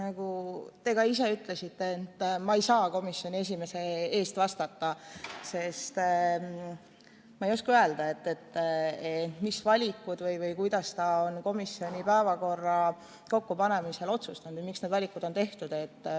Nagu te ka ise ütlesite, ei saa ma komisjoni esimehe eest vastata, sest ma ei oska öelda, kuidas ta on komisjoni päevakorra kokkupanemise otsustanud või miks need valikud on tehtud.